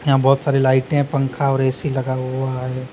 बहोत सारी लाइटे पंखा और ए_सी लगा हुआ है।